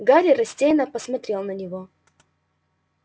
гарри растерянно посмотрел на него